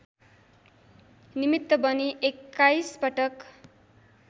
निमित्त बनी एक्काइसपटक